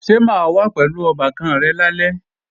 Ṣo máa wá pẹ̀lú ọbàkan rẹ̀ lálẹ́?